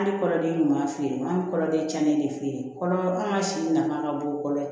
Hali kɔrɔden ɲuman feere an bɛ kɔrɔlen tiɲɛni de fɛ yen kɔrɔma si nafa ka bon kosɛbɛ